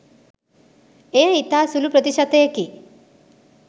එය ඉතා සුළු ප්‍රතිශතයකි.